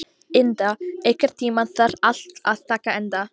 Inda, einhvern tímann þarf allt að taka enda.